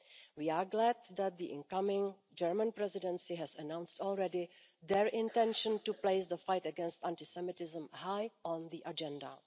We are glad that the incoming German Presidency has announced already their intention to place the fight against anti Semitism high on the agenda.